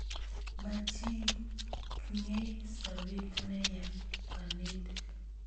Makchin kei sopet ne nye kanetik